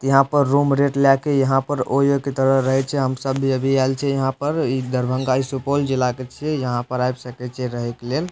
यहां पर room rent ला के यहां पर ओयो के तरह रहे छै हम सब भी अभी आइल छिये यहां पर दरभंगा इ सुपौल जिला के छिये यहां पर आब सके छी रहे के लेल ।